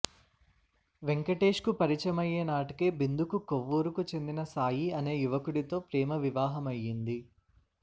వెంకటేష్కు పరిచయమయ్యే నాటికే బిందుకు కొవ్వూరుకు చెందిన సాయి అనే యువకుడితో ప్రేమవివాహమయ్యింది